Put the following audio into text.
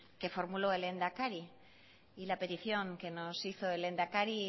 que formuló el lehendakari y la petición que nos hizo el lehendakari